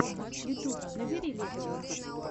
ютюб набери левчик